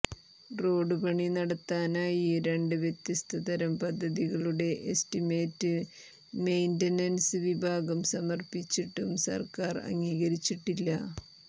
road പണി നടത്താനായി രണ്ട് വ്യത്യസ്ത തരം പദ്ധതികളുടെ എസ്റ്റിമേറ്റ് മെയിൻ്റനൻസ് വിഭാഗം സമർപ്പിച്ചിട്ടും സർക്കാർ അംഗീകരിച്ചിട്ടില്ല